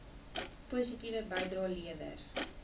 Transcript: positiewe bydrae lewer